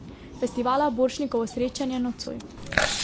Festivala Borštnikovo srečanje nocoj.